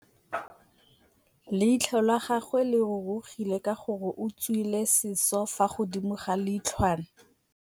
Leitlhô la gagwe le rurugile ka gore o tswile sisô fa godimo ga leitlhwana.